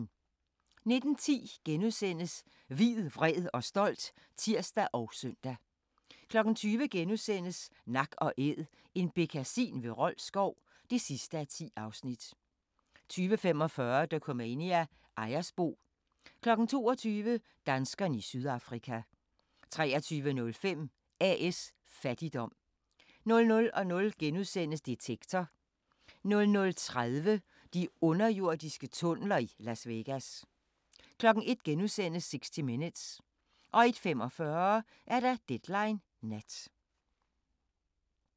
19:10: Hvid, vred og stolt *(tir og søn) 20:00: Nak & Æd – en bekkasin ved Rold Skov (10:10)* 20:45: Dokumania: Ejersbo 22:00: Danskerne i Sydafrika 23:05: A/S Fattigdom 00:00: Detektor * 00:30: De underjordiske tunneler i Las Vegas 01:00: 60 Minutes * 01:45: Deadline Nat